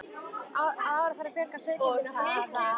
Að ári þarf að fjölga sauðkindinni og fækka kúm.